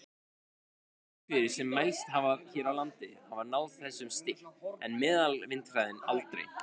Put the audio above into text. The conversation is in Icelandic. Öflugustu vindhviður sem mælst hafa hér á landi hafa náð þessum styrk, en meðalvindhraði aldrei.